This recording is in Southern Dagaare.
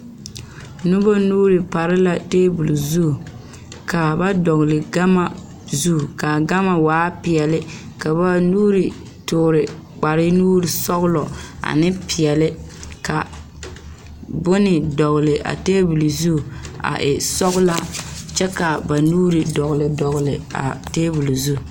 Noba nuuri pare la tabol zu ka ba dɔgle gama zu ka gama waa peɛle ka ba nuuri toore kparenusɔglɔ ane peɛle ka bone dɔgle a tabol zu a e sɔglaa kyɛ k,a ba nuuri dɔgle dɔgle a tabol zu.